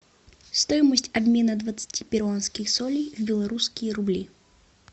стоимость обмена двадцати перуанских солей в белорусские рубли